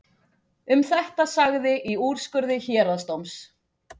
Um þetta sagði í úrskurði héraðsdóms: